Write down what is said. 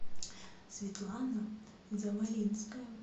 светлана завалинская